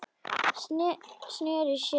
Sneri sér undan.